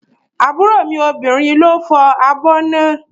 Àbúrò mi obìnrin ló fọ́ abọ́ náà